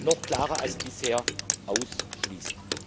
noch klarer als bisher ausschließt.